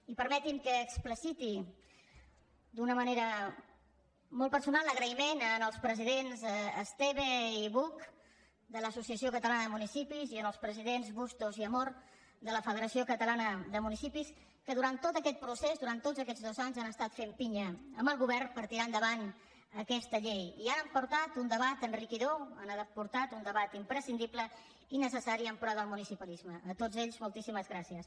i permetin me que expliciti d’una manera molt personal l’agraïment als presidents esteve i buch de l’associa ció catalana de municipis i als presidents bustos i amor de la federació de municipis de catalunya que durant tot aquest procés durant tots aquests dos anys han estat fent pinya amb el govern per tirar endavant aquesta llei i hi han aportat un debat enriquidor hi han aportat un debat imprescindible i necessari en pro del municipalisme a tots ells moltíssimes gràcies